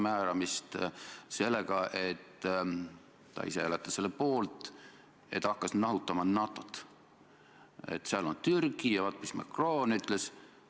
Ma arvan, et see on teema, mida te võiksite Martin Helmega pärast arutada, aga ma arvan, et ka selles mõttes ei pea nüüd liiga kaua solvunut mängima.